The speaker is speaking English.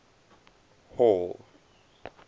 hall